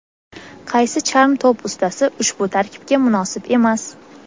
qaysi charm to‘p ustasi ushbu tarkibga munosib emas?.